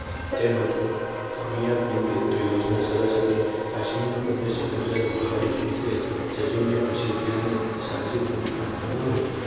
તેમ હતું કામયાબ નિવડે તો યોજના સરસ હતું. કાશ્મીરનો પ્રદેશ એકંદરે પહાડી એટલે જજૂમ્યા પછી ત્યાંની સાહસી ભૂમિ હાથમાં ન આવી.